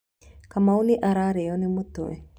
Kamau nĩ ararĩo ni mũtwe.